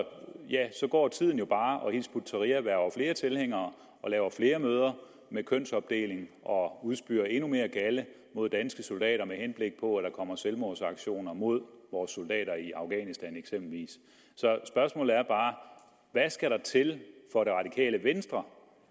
går tiden jo bare og hizb ut tahrir hverver flere tilhængere og laver flere møder med kønsopdeling og udspyr endnu mere galde mod danske soldater med henblik på at kommer selvmordsaktioner mod vores soldater i afghanistan så spørgsmålet er bare hvad skal der til for det radikale venstre